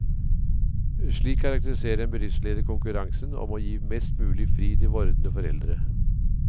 Slik karakteriserer en bedriftsleder konkurransen om å gi mest mulig fri til vordende foreldre.